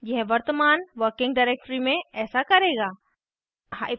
यह वर्तमान working directory में ऐसा करेगा